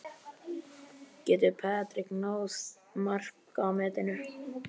Getur Patrick náð markametinu?